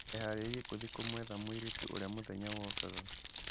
Eharĩirie gũthiĩ kũmwetha mũirĩtu ũrĩa mũthenya wokaga.